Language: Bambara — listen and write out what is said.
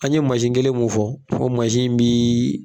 An ye kelen mun fɔ fɔ mi